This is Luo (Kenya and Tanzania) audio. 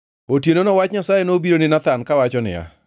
Otienono wach mar Nyasaye nobiro ni Nathan kawacho niya,